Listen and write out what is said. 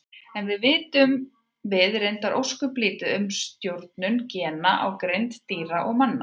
Enn vitum við reyndar ósköp lítið um stjórnun gena á greind dýra og manna.